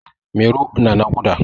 Mairo na naƙuda.